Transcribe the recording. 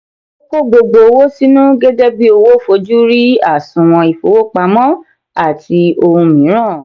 o ko gbogbo owo sinu gẹgẹbi owo fojú rí àsùnwòn ifowopamọ àti ohun miran.